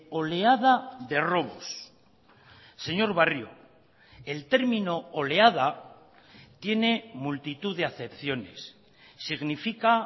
oleada de robos señor barrio el término oleada tiene multitud de acepciones significa